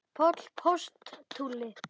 Páll postuli?